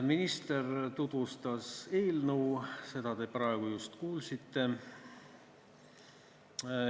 Minister tutvustas eelnõu, seda tutvustust te praegu just kuulsite.